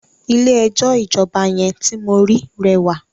Ilé ẹjọ́ ìjọba yẹn ti mo ri rẹwà.